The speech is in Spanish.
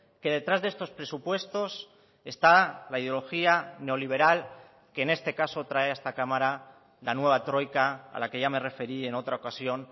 que detrás de estos presupuestos está la ideología neoliberal que en este caso trae a esta cámara la nueva troika a la que ya me referí en otra ocasión